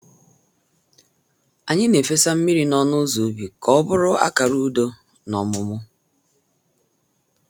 Anyị na-efesa mmiri n’ọnụ ụzọ ubi ka ọ bụrụ akara udo na ọmụmụ